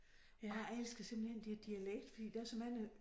Og jeg elsker simpelthen de har dialekt fordi der så mange